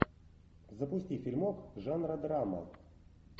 запусти фильмок жанра драма